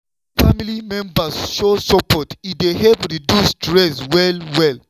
wen family members show support e dey help reduce stress well-well.